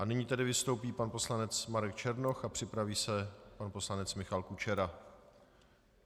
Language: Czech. A nyní tedy vystoupí pan poslanec Marek Černoch a připraví se pan poslanec Michal Kučera.